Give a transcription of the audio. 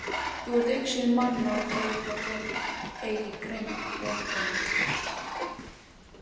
Þú ert í augsýn manna og þó fá þeir eigi greint veg þinn.